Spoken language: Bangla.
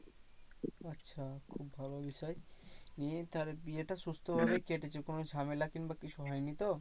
আচ্ছা মানে নিয়ে তাহলে বিয়েটা সুস্থ ভাবে কেটেছে কোনো ঝামেলা কিংবা কিছু হয়নি তো?